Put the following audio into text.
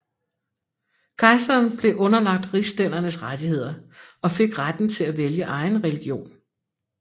Kejseren blev underlagt rigsstændernes rettigheder og fik retten til at vælge egen religion